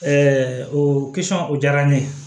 o o diyara n ye